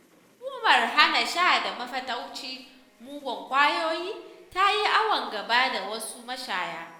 Hukumar Hana Sha da Mafataucin Muggan Ƙwayoyi ta yi awon gaba da wasu mashaya.